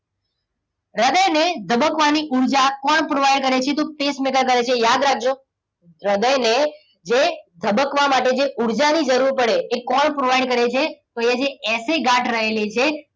હૃદયની ધબકવાની ઉર્જા કોણ provide કરે છે? તો pacemaker કરે છે. યાદ રાખજો હૃદયને જે ધબકવા માટે જે ઉર્જા ની જરૂર પડે છે એ કોણ provide કરે છે? તો એ જે એસ એ ગાંઠ રહેલી છે.